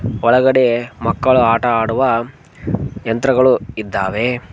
ಒಳಗಡೆ ಮಕ್ಕಳು ಆಟವಾಡುವ ಯಂತ್ರಗಳು ಇದ್ದಾವೆ.